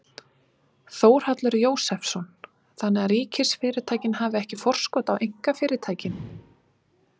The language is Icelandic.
Þórhallur Jósefsson: Þannig að ríkisfyrirtækin hafi ekki forskot á einkafyrirtækin?